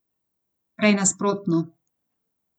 Prej nasprotno.